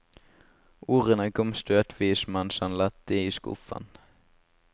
Ordene kom støtvis mens han lette i skuffen.